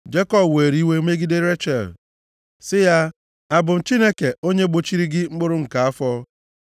Jekọb were iwe megide Rechel, sị ya, “Abụ m Chineke onye gbochiri gị mkpụrụ nke afọ?”